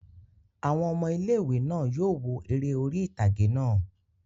Àwọn ọmọ ilé-ìwé náà yóò wo eré orí ìtàgé náà